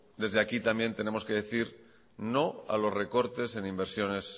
desde aquí también tenemos que decir no a los recortes en inversiones